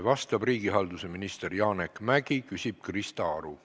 Vastab riigihalduse minister Janek Mäggi, küsib Krista Aru.